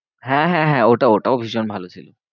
হ্যাঁ হ্যাঁ হ্যাঁ ওটাও ওটাও ভীষণ ভালো ছিল।